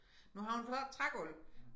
Nu har hun fået trægulv